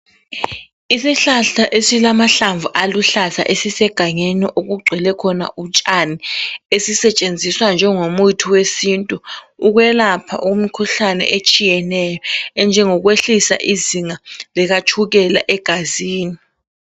Isihlahla esilamahlamvu aluhlaza esisegangeni okugcwele khona utshani esisetshenziswa njengomuthi wesintu ukwelapha umkhuhlane etshiyeneyo enjengokwehlisa izinga likatshukela egazini.